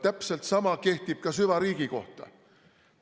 Täpselt sama kehtib ka süvariigi kohta.